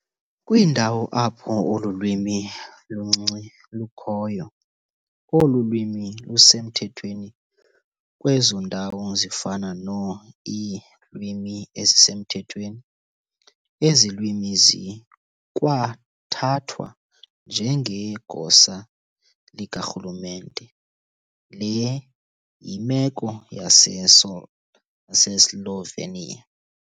Kwiindawo apho olu lwimi luncinci lukhoyo, olu lwimi lusemthethweni kwezo ndawo zifana no-ii-lwimi ezisemthethweni, ezi lwimi zikwathathwa njengegosa likarhulumente, le yimeko yaseSo yaseSlovenia.